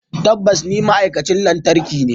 Tabbas ni ma'aikacin lantarki ne.